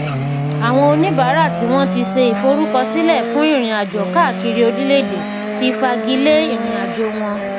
àwọn oníbàárà tí wọn ti ṣe ìfọrúkọsílẹ fún ìrìnàjò káàkiri orílẹèdè ti fàgílé ìrìnàjò wọn